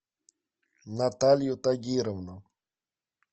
наталью тагировну